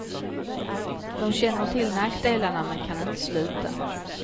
De känner till nackdelarna men kan inte sluta.